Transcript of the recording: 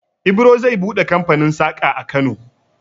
Ibro zai buɗe kamfanin saƙa a Kano.